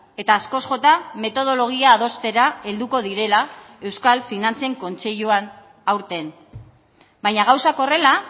eta askoz jota metodologia adostera helduko direla euskal finantzen kontseiluan aurten baina gauzak horrela